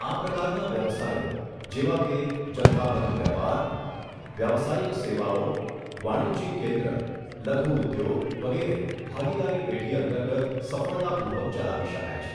આ પ્રકારના વ્યવસાયો, જેવા કે જથ્થાબંધ વેપાર, વ્યાવસાયિક સેવાઓ, વાણિજ્યિક કેન્દ્ર, લધુ ઉદ્યોગ, વગેરે ભાગીદારી પેઢી અંતર્ગત સફળતાપૂર્વક ચલાવી શકાય છે.